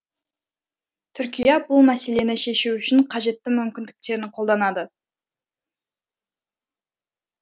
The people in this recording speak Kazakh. түркия бұл мәселені шешу үшін қажетті мүмкіндіктерін қолданады